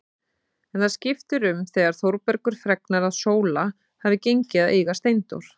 En það skiptir um þegar Þórbergur fregnar að Sóla hafi gengið að eiga Steindór.